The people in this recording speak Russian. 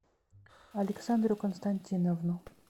александру константиновну